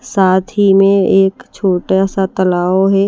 साथ ही में एक छोटा सा तलाव है।